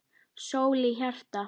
Sól í hjarta.